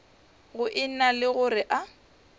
go ena le gore a